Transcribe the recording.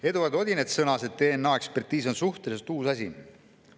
Eduard Odinets sõnas, et DNA‑ekspertiis on suhteliselt uus asi.